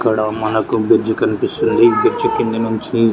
ఇక్కడ మనకి బ్రిడ్జ్ కనిపిస్తుంది బ్రిడ్జి కింద నుంచి--